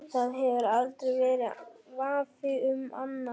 Það hefur aldrei verið vafi um annað.